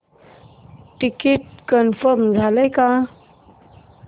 ticket confirm झाले का